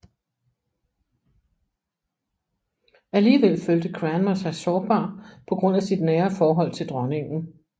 Alligevel følte Cranmer sig sårbar på grund af sit nære forhold til dronningen